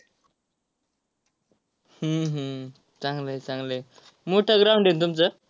हम्म हम्म चांगलं आहे, चांगलं आहे. मोठं ground आहे तुमचं?